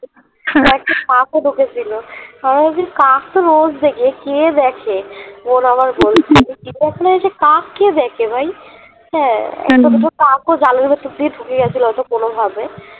কাক ও ঢুকেছিল কাক তো রোজ দেখে কে দেখে বোন আমার বলছিল চিড়িয়াখানা এসে কাক কে দেখে ভাই হ্যা দুটো কাক জালের ভিতর ঢুকে গেছিল হয়ত কোনভাবে